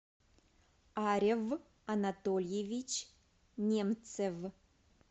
арев анатольевич немцев